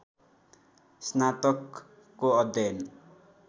स्नातकको अध्ययन